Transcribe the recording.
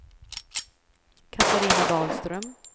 Catarina Dahlström